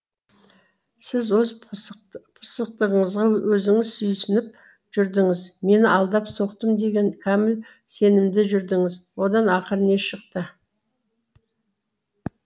сіз өз пысықтығыңызға өзіңіз сүйсініп жүрдіңіз мені алдап соқтым деген кәміл сенімде жүрдіңіз одан ақыры не шықты